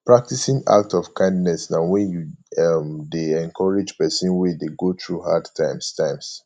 practicing act of kindness na when you um de encourage persin wey de go through hard times times